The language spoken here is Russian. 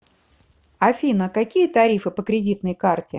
афина какие тарифы по кредитной карте